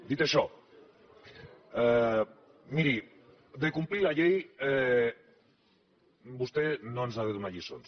dit això miri de complir la llei vostè no ens ha de donar lliçons